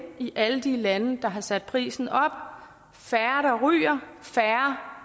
i alle de lande der har sat prisen op færre ryger